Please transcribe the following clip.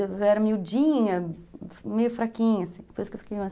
Eu era miudinha, meio fraquinha.